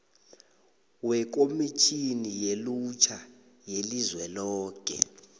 wekhomitjhini yelutjha yelizweloke